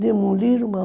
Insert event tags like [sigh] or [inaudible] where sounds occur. Demoliram, [unintelligible]